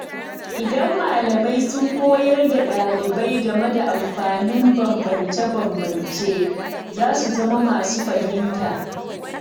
Idan malamai sun koyar da ɗalibai game da amfanin bambance-bambance, za su zama masu fahimta.